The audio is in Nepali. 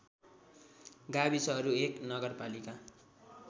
गाविसहरू १ नगरपालिका